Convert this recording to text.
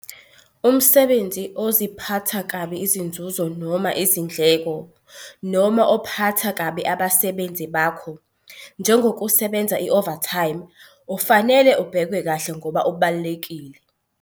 Umsebenzi oziphatha kabi izinzuzo noma izindleko, noma obaphatha kabi abasebenzi bakho njengokusebenza i-'overtime', ufanele ubhekwe kahle ngoba ubalulekile.